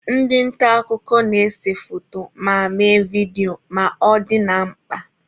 Ndị nta akụkọ na-ese foto ma mee vidio ma ọ dị na mkpa.